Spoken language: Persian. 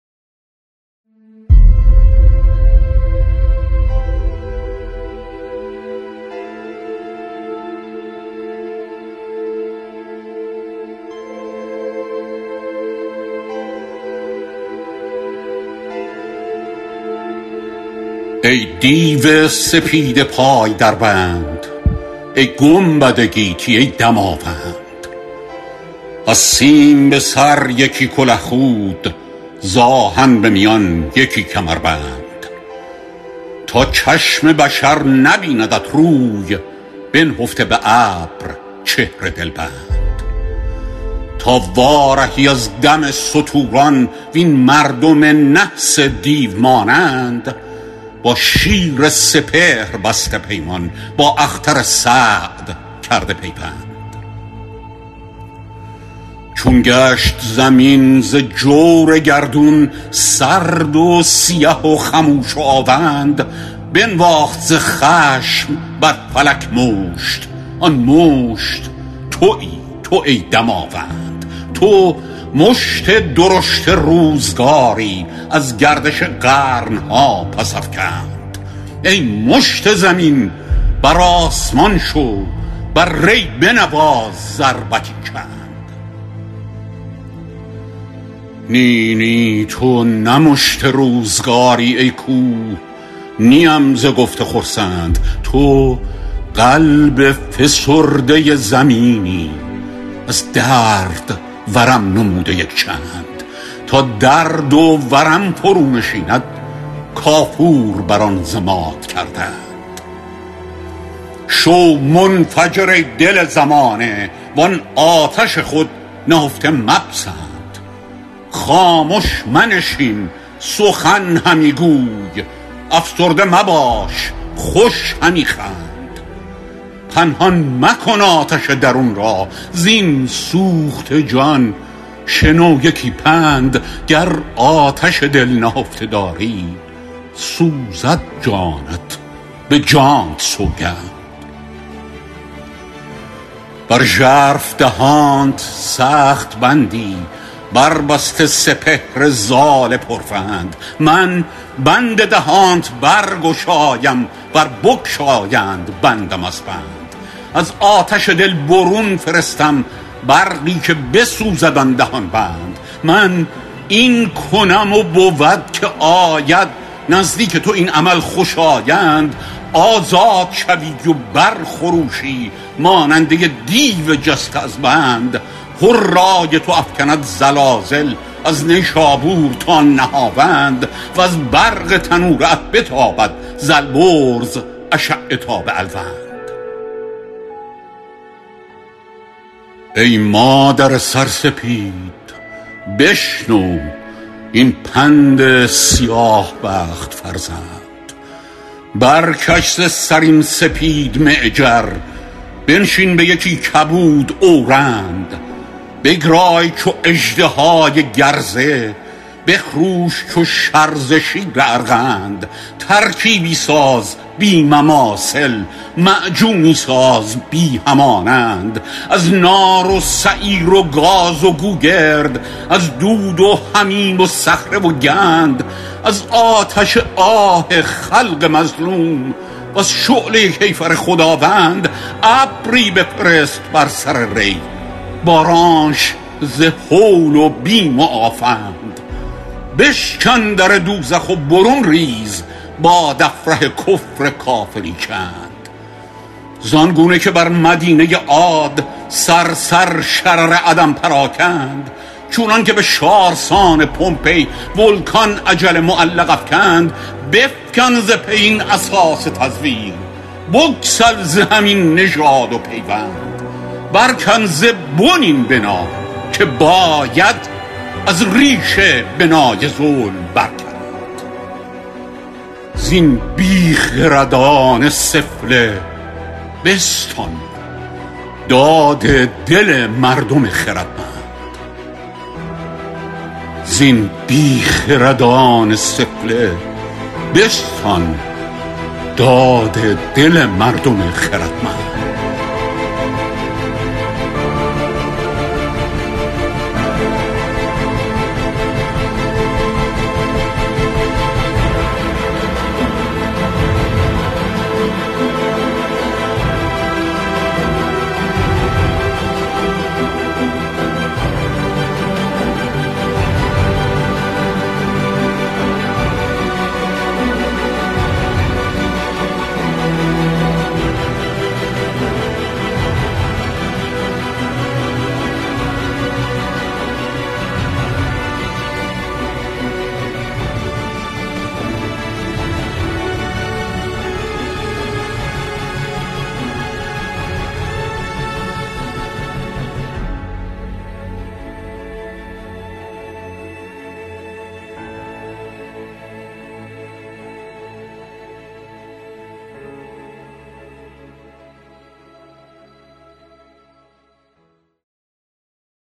ای دیو سپید پای در بند ای گنبد گیتی ای دماوند از سیم به سر یکی کله خود ز آهن به میان یکی کمربند تا چشم بشر نبیندت روی بنهفته به ابر چهر دلبند تا وارهی از دم ستوران وین مردم نحس دیو مانند با شیر سپهر بسته پیمان با اختر سعد کرده پیوند چون گشت زمین ز جور گردون سرد و سیه و خموش و آوند بنواخت ز خشم بر فلک مشت آن مشت تویی تو ای دماوند تو مشت درشت روزگاری از گردش قرن ها پس افکند ای مشت زمین بر آسمان شو بر ری بنواز ضربتی چند نی نی تو نه مشت روزگاری ای کوه نیم ز گفته خرسند تو قلب فسرده زمینی از درد ورم نموده یک چند تا درد و ورم فرو نشیند کافور بر آن ضماد کردند شو منفجر ای دل زمانه وان آتش خود نهفته مپسند خامش منشین سخن همی گوی افسرده مباش خوش همی خند پنهان مکن آتش درون را زین سوخته جان شنو یکی پند گر آتش دل نهفته داری سوزد جانت به جانت سوگند بر ژرف دهانت سخت بندی بر بسته سپهر زال پرفند من بند دهانت برگشایم ور بگشایند بندم از بند از آتش دل برون فرستم برقی که بسوزد آن دهان بند من این کنم و بود که آید نزدیک تو این عمل خوشایند آزاد شوی و بر خروشی ماننده دیو جسته از بند هرای تو افکند زلازل از نیشابور تا نهاوند وز برق تنوره ات بتابد ز البرز اشعه تا به الوند ای مادر سرسپید بشنو این پند سیاه بخت فرزند برکش ز سر این سپید معجر بنشین به یکی کبود اورند بگرای چو اژدهای گرزه بخروش چو شرزه شیر ارغند ترکیبی ساز بی مماثل معجونی ساز بی همانند از نار و سعیر و گاز و گوگرد از دود و حمیم و صخره و گند از آتش آه خلق مظلوم و از شعله کیفر خداوند ابری بفرست بر سر ری بارانش ز هول و بیم و آفند بشکن در دوزخ و برون ریز بادافره کفر کافری چند زانگونه که بر مدینه عاد صرصر شرر عدم پراکند چونان که بشارسان پمپی ولکان اجل معلق افکند بفکن ز پی این اساس تزویر بگسل ز هم این نژاد و پیوند برکن ز بن این بنا که باید از ریشه بنای ظلم برکند زین بیخردان سفله بستان داد دل مردم خردمند